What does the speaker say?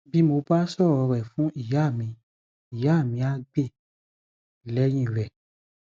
bí mo bá sọrọ rẹ fún ìyá mi ìyá mi ah gbè lẹyìn rẹ